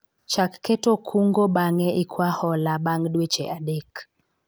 chak keto kungo bang'e ikwa hola bang' dweche adek